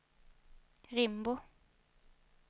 Rimbo